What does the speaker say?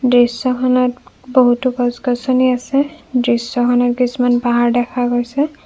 দৃষ্যখনত বহুতো গছ গছনি আছে দৃশ্যখনত কিছুমান পাহাৰ দেখা গৈছে।